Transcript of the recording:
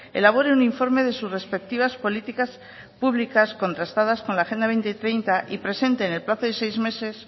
elabore un informe de sus respectivas políticas públicas contrastadas con la agenda dos mil treinta y presente en el plazo de seis meses